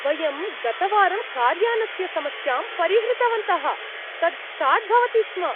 वयं गतवारं कार्यानस्य समस्यां परिहृतवन्तः, तत् स्टार्ट् भवति स्म।